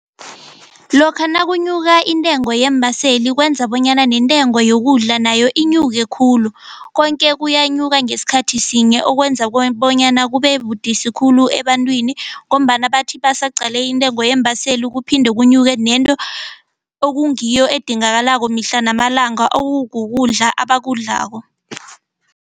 Lokha nakunyuka intengo yeembaseli kwenza bonyana nentengo yokudla nayo inyuke khulu konke kuyanyuka ngesikhathi sinye okwenza bona bonyana kube budisi khulu ebantwini ngombana bathi baseqale intengo yeembaseli kuphinde kunyeke nento okungiyo edingakalayo mihla namalanga okukukudla abakudlako.